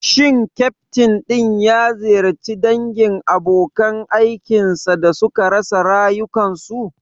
Shin ƙyaftin din ya ziyarci dangin abokan aikin sa da suka rasa rayukansu?